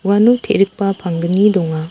uano te·rikba pangni donga.